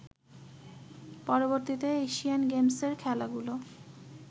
পরবর্তীতে এশিয়ান গেমসের খেলাগুলো